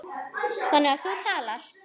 Þannig að þú talar.